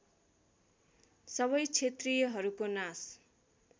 सबै क्षेत्रीयहरूको नाश